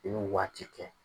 I b'u waati kɛ.